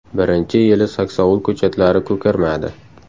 Birinchi yili saksovul ko‘chatlari ko‘karmadi.